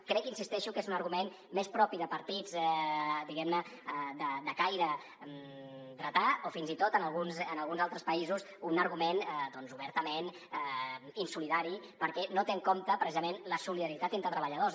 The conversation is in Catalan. crec hi insisteixo que és un argument més propi de partits diguem·ne de caire dretà o fins i tot en alguns altres països un argument doncs obertament insolidari perquè no té en compte precisament la solidaritat entre tre·balladors